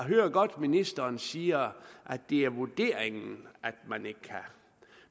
hører godt at ministeren siger at det er vurderingen at man ikke kan